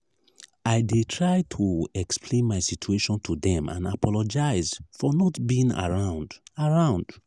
i dey try to explain my situation to dem and apologize for not being around. around.